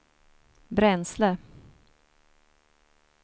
bränsle